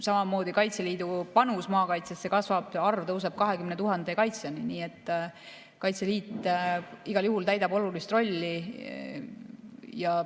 Samamoodi kasvab Kaitseliidu panus maakaitsesse, see arv tõuseb 20 000 kaitsjani, nii et Kaitseliit igal juhul täidab olulist rolli.